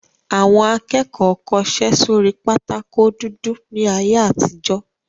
Àwọn akẹ́kọ̀ọ́ kọṣẹ́ sórí pátákó dúdú ní ayé àtijó